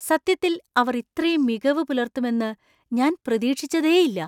സത്യത്തില്‍ അവർ ഇത്രയും മികവ് പുലർത്തുമെന്ന് ഞാൻ പ്രതീക്ഷിച്ചതേയില്ല.